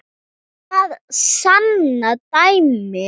Það sanna dæmin.